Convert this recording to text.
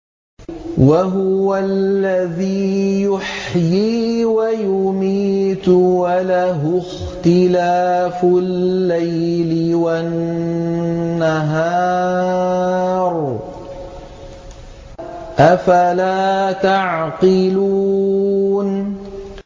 وَهُوَ الَّذِي يُحْيِي وَيُمِيتُ وَلَهُ اخْتِلَافُ اللَّيْلِ وَالنَّهَارِ ۚ أَفَلَا تَعْقِلُونَ